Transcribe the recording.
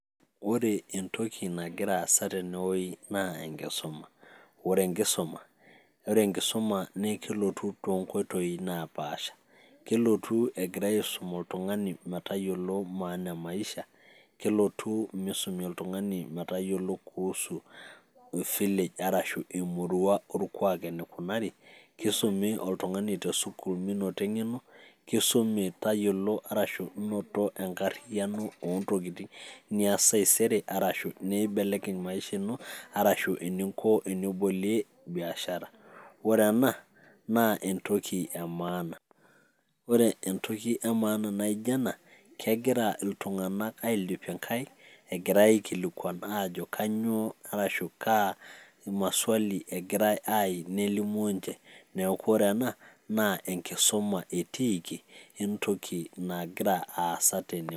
Ore entoki nagira aasai teinewueji naa enkisuma, ore enkisuma naa kelotu too inkoitoi napaasha, kelotu egira aisum oltung'ani metayiolou maana e maisha, kelotu meisumi oltung'ani metayiolou kuhusu village arashu emurua orkwaak eneikunari, keisumi oltung'ani te sukuul meinoto eng'eno, Kisumu tayiolo arashu inoto enkaryano oo ntokitin nias taisere arashu nimbelekeny maisha ino ashu eninko pee ibolie biashara. Ore ena naa entoki e maana